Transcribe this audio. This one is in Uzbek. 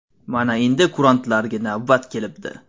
Mana endi kurantlarga navbat kelibdi.